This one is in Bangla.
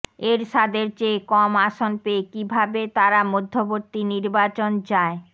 এরশাদের চেয়ে কম আসন পেয়ে কিভাবে তারা মধ্যবর্তী নির্বাচন চায়